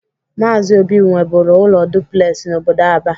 Maazi Obi nweburu ụlọ duplesi n'obodo Aba.